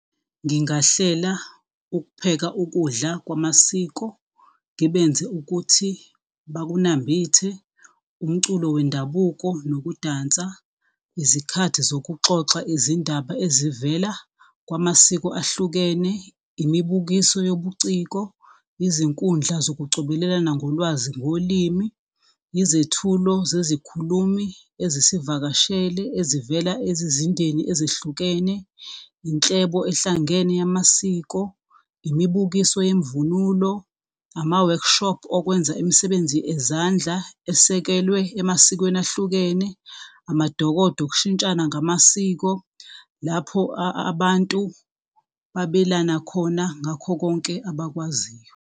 Ngingahlela ukupheka ukudla kwamasiko, ngibenze ukuthi bakunambithe, umculo wendabuko nokudansa, izikhathi zokuxoxa izindaba ezivela kwamasiko ahlukene, imibukiso yobuciko, izinkundla zokucobelelana ngolwazi ngolimi, izethulo zezikhulumi ezisivakashele, ezivela ezizindeni ezihlukene. Inhlebo ehlangene yamasiko, imibukiso yemvunulo, ama-workshop okwenza imisebenzi ezandla esekelwe emasikweni ahlukene, amadokodo okushintshana ngamasiko, lapho abantu babelana khona ngakho konke abakwaziyo.